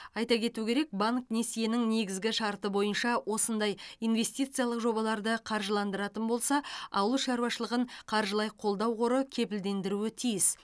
айта кету керек банк несиенің негізгі шарты бойынша осындай инвестициялық жобаларды қаржыландыратын болса ауыл шаруашылығын қаржылай қолдау қоры кепілдендіруі тиіс